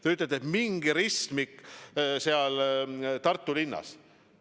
Te ütlete, et mingi ristmik Tartu linnas.